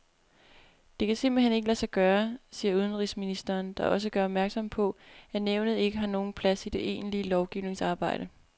Det kan simpelt hen ikke lade sig gøre, siger udenrigsministeren, der også gør opmærksom på, at nævnet ikke har nogen plads i det egentlige lovgivningsarbejde.